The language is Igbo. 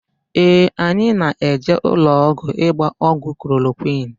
Ee, anyị na-eje ụlọọgwụ ịgba ọgwụ klorokwịn.